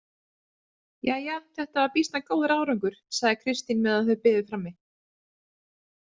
Jæja, þetta var býsna góður árangur, sagði Kristín meðan þau biðu frammi.